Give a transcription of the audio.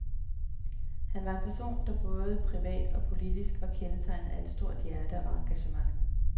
Han var en person, der både privat og politisk var kendetegnet af et stort hjerte og engagement.